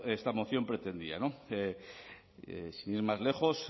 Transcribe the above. esta moción pretendía no sin ir más lejos